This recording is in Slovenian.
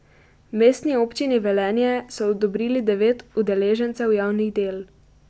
Mestni občini Velenje so odobrili devet udeležencev javnih del.